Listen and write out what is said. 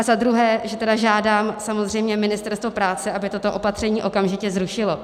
A za druhé, že tedy žádám samozřejmě Ministerstvo práce, aby toto opatření okamžitě zrušilo.